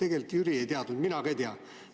Tegelikult Jüri ei teadnud, mina ka ei teadnud.